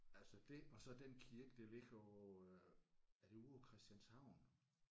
Altså det og så den kirke der ligger ovre er det ude på Christianshavn?